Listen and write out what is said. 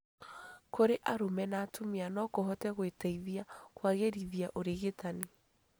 Kũrĩ arũme na atumia no kũhote gũteithia kũagĩrithia ũrigitani.